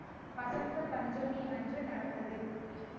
வசந்த பஞ்சமி அன்று நடந்தது